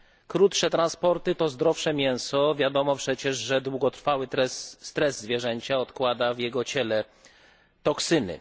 Krótsze transporty to zdrowsze mięso wiadomo przecież, że długotrwały stres zwierzęcia odkłada w jego ciele toksyny.